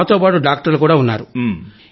మమ్మల్ని సప్ధర్ జంగ్ ఆస్పత్రిలో విడిచి పెట్టారు